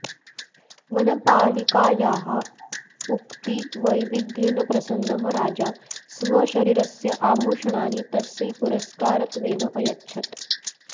वनपालिकायाः उक्तिवैविध्येन प्रसन्नः राजा स्वशरीरस्य आभूषणानि तस्यै पुरस्कारत्वेन अयच्छत्